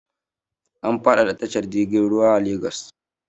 An faɗaɗa tashar jirg ruwai ta Lagos.